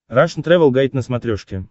рашн тревел гайд на смотрешке